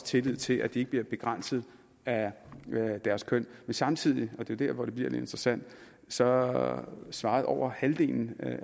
tillid til at de ikke bliver begrænset af deres køn men samtidig og det er der hvor det bliver lidt interessant svarede svarede over halvdelen